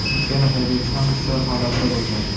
ikkala haydovchi ham hushyor holatda bo‘lgan.